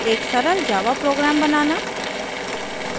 एक सरल java program बनाना